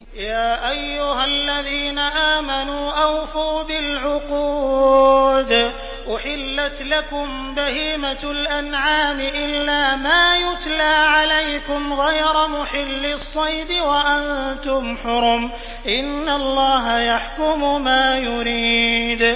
يَا أَيُّهَا الَّذِينَ آمَنُوا أَوْفُوا بِالْعُقُودِ ۚ أُحِلَّتْ لَكُم بَهِيمَةُ الْأَنْعَامِ إِلَّا مَا يُتْلَىٰ عَلَيْكُمْ غَيْرَ مُحِلِّي الصَّيْدِ وَأَنتُمْ حُرُمٌ ۗ إِنَّ اللَّهَ يَحْكُمُ مَا يُرِيدُ